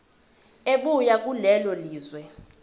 ebuya kulelo lizwe